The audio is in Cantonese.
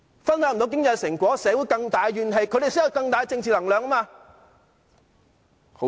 分享不到經濟成果，社會有更大怨氣，他們才有更大政治能量。